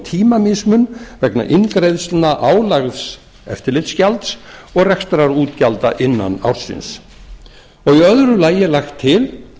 tímamismun vegna eingreiðsla álagðs eftirlitsgjalds og rekstrarútgjalda innan ársins í öðru lagi er lagt til